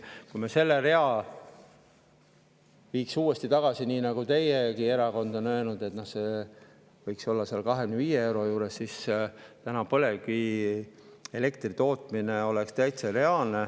Kui me selle viiks tagasi – teiegi erakond on öelnud, et see võiks olla 25 euro juures –, siis oleks täna põlevkivielektri tootmine täitsa reaalne.